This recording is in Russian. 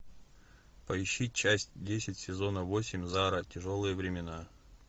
поищи часть десять сезона восемь зара тяжелые времена